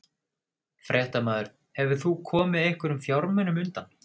Fréttamaður: Hefur þú komið einhverjum fjármunum undan?